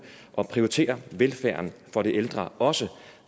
at prioritere velfærden for de ældre også